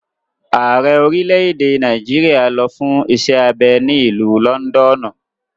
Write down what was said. Ààrẹ orílẹ̀-èdè Nàìjíríà lọ fún iṣẹ́ abẹ ní ìlú lọ́ndọ̀nù.